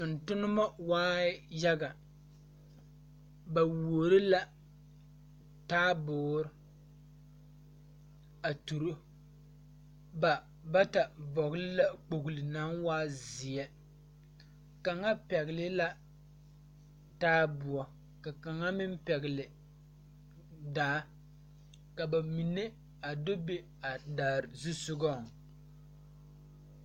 Tontonnema waai yaga ba wuoro la taaboore a turo ba bata vɔgle la kpogle naŋ waa zeɛ kaŋa pɛgle la taaboɔ ka kaŋa meŋ pɛgle daa ka ba mine a do be a daadaare zusugɔŋ.